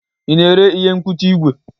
Ị na-ere ihe mkpuchi igwe?